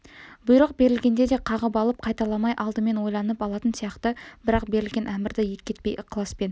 бұйрық берілгенде де қағып алып қайталамай алдымен ойланып алатын сияқты бірақ берілген әмірді екі етпей ықыласпен